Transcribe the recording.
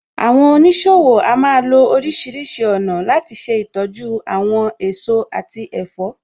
Àwọn oníṣòwò a máa lo oríṣìíríṣìí ọ̀nà láti ṣe ìtọ́jú àwọn èso àti ẹ̀fọ́.